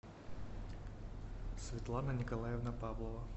светлана николаевна павлова